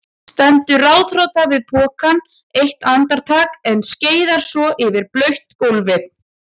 Stendur ráðþrota við pokann eitt andartak en skeiðar svo yfir blautt gólfið.